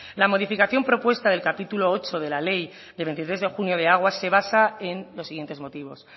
la modificación propuesta del capítulo ocho de la ley de veintitrés de junio de aguas se basa en los siguientes motivos